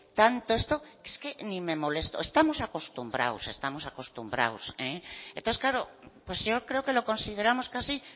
tanto esto que es que ni me molesto estamos acostumbrados estamos acostumbrados entonces claro pues yo creo que lo consideramos casi